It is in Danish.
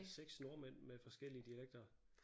6 nordmænd med forskellige dialekter